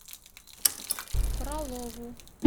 фролову